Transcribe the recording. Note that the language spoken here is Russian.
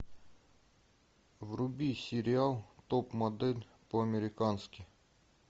вруби сериал топ модель по американски